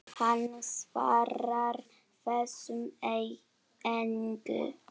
Hann svarar þessu engu.